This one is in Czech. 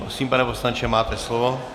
Prosím, pane poslanče, máte slovo.